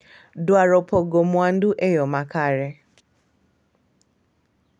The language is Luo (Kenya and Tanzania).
Dwaro pogo mwandu e yo makare,